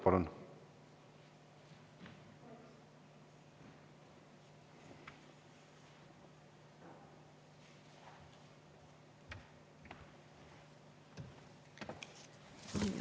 Palun!